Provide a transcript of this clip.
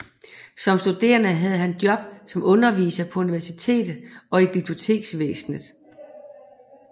Som studerende havde han job som underviser på universitet og i biblioteksvæsnet